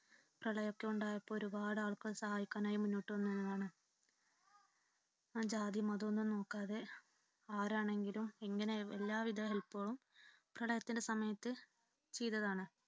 പ്രളയമൊക്കെ ഉണ്ടായപ്പോൾ ഒരുപാട് ആൾക്കാര് സഹായിക്കുവാനായി മുന്നോട്ടു വന്നതാണ്. ജാതിയും മതവും ഒന്നും നോക്കാതെ ആരാണെങ്കിലും ഇങ്ങനെ എല്ലാ വിധ help കളും പ്രളയത്തിന്റെ സമയത്ത് ചെയ്തതാണ്.